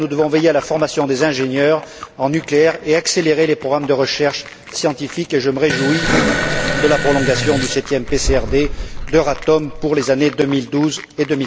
Enfin, nous devons veiller à la formation des ingénieurs en nucléaire et accélérer les programmes de recherche scientifique, et je me réjouis de la prolongation du septième PCRD d'Euratom pour les années 2012 et